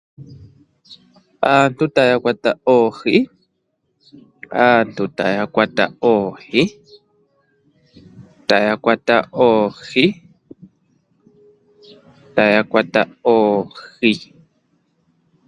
Aantu taya kwata oohi. Oohi ohadhi kwatwa uuna omvula yaloko yagwana nawa nenge uuna kuna efundja olwo ethimbo ndoka hali vulu okukwatiwa oohi.